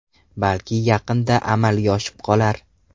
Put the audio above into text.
Balki yaqinda amalga oshib qolar.